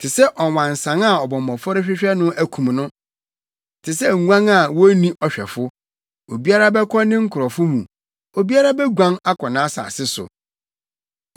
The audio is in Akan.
Te sɛ ɔwansan a ɔbɔmmɔfo rehwehwɛ no akum no, te sɛ nguan a wonni ɔhwɛfo, obiara bɛkɔ ne nkurɔfo mu, obiara beguan akɔ nʼasase so.